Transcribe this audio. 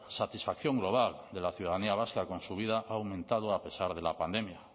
satisfacción global de la ciudadanía vasca con su vida ha aumentado a pesar de la pandemia